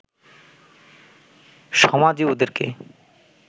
সমাজই ওদেরকে